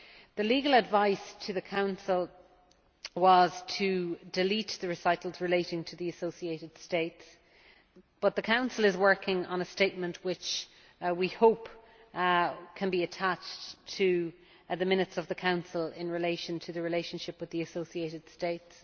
The legal advice to the Council was to delete the recitals related to the associated states, but the Council is working on a statement which we hope can be attached to the minutes of the Council with regard to the relationship with the associated States.